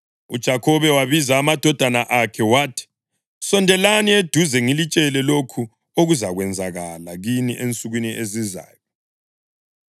UJakhobe wabiza amadodana akhe wathi: “Sondelani eduze ngilitshele lokho okuzakwenzakala kini ensukwini ezizayo.